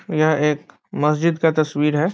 यह एक मस्जिद का तस्वीर है।